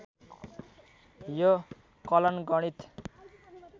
यो कलन गणित